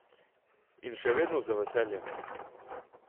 In še vedno z veseljem.